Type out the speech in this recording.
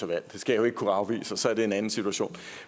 valg det skal jeg ikke kunne afvise og så er det en anden situation